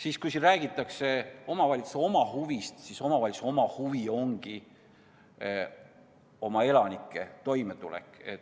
Aga kui räägitakse omavalitsuse huvidest, siis omavalitsuse huvi ongi oma elanike toimetulek.